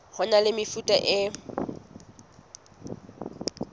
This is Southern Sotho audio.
ho na le mefuta e